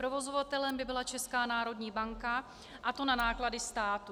Provozovatelem by byla Česká národní banka, a to na náklady státu.